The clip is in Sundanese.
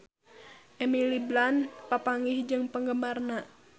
Emily Blunt papanggih jeung penggemarna